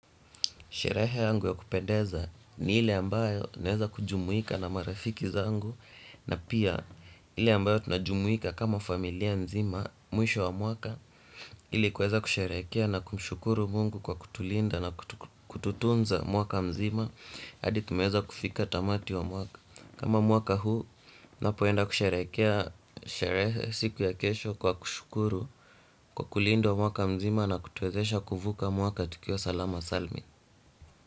Sherehe yangu ya kupendeza ni ile ambayo naeza kujumuika na marafiki zangu. Na pia ile ambayo tunajumuika kama familia nzima mwisho wa mwaka. Ili kuweza kusherekea na kumshukuru Mungu kwa kutulinda na kututunza mwaka mzima adi tumeeza kufika tamati wa mwaka. Kama mwaka huu napoenda kusherekea sherehe siku ya kesho kwa kushukuru kwa kulinda wa mwaka mzima. Na kutwezesha kuvuka mwaka tukio salama salmin.